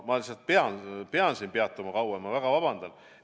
Ma lihtsalt pean sellel kauem peatuma, ma väga vabandan.